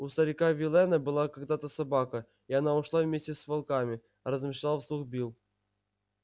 у старика виллэна была когда то собака и она ушла вместе с волками размышлял вслух билл